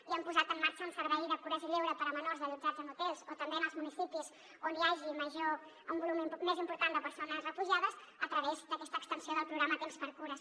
i hem posat en marxa un servei de cures i lleure per a menors allotjats en hotels o també en els municipis on hi hagi un volum més important de persones refugiades a través d’aquesta extensió del programa tempsxcures